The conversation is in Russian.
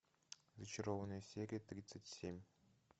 зачарованные серия тридцать семь